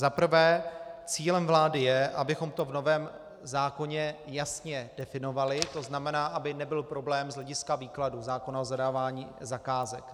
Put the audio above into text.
Za prvé, cílem vlády je, abychom to v novém zákoně jasně definovali, to znamená, aby nebyl problém z hlediska výkladu zákona o zadávání zakázek.